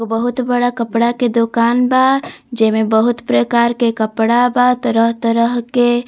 बहुत बड़ा कपड़ा के दुकान बा जेमें बहुत प्रकार के कपड़ा बा तरह-तरह के।